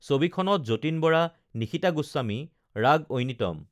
ছবিখনত যতীন বৰা নিশিতা গোস্বামী ৰাগ ঐনিতম